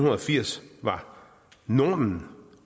firs var normen